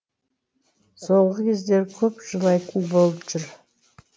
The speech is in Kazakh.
соңғы кезде көп жылайтын болып жүр